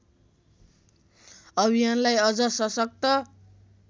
अभियानलाई अझ सशक्त